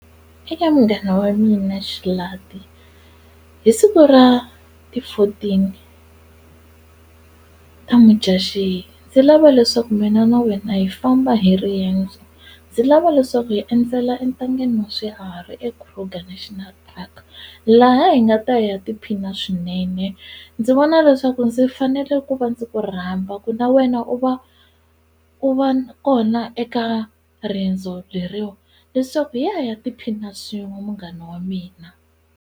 Eka munghana wa mina Xalati hi siku ra ti fourteen ta Mudyaxihi ndzi lava leswaku mina na wena hi famba hi riendzo ndzi lava leswaku hi endzela entangeni wa swiharhi eKruger National Park laha hi nga ta ya tiphina swinene ndzi vona leswaku ndzi fanele ku va ndzi ku rhamba ku na wena u va u va kona eka riendzo leriwa leswaku hi ya hi ya tiphina swin'we munghana wa mina.